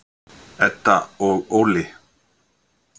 Edda og Óli.